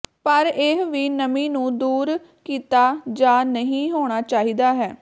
ਪਰ ਇਹ ਵੀ ਨਮੀ ਨੂੰ ਦੂਰ ਕੀਤਾ ਜਾ ਨਹੀ ਹੋਣਾ ਚਾਹੀਦਾ ਹੈ